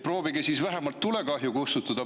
Proovige siis vähemalt tulekahju kustutada!